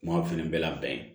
Maaw fana bɛ labɛn